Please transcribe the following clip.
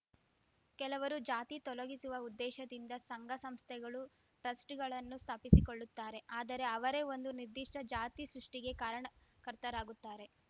ಕೆಲವರು ಜಾತಿ ತೊಲಗಿಸುವ ಉದ್ದೇಶದಿಂದ ಸಂಘ ಸಂಸ್ಥೆಗಳು ಟ್ರಸ್ಟ್‌ಗಳನ್ನು ಸ್ಥಾಪಿಸಿಕೊಳ್ಳುತ್ತಾರೆ ಆದರೆ ಅವರೇ ಒಂದು ನಿರ್ದಿಷ್ಟಜಾತಿ ಸೃಷ್ಟಿಗೆ ಕಾರಣಕರ್ತರಾಗುತ್ತಾರೆ